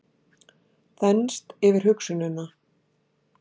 Þenst yfir hugsunina.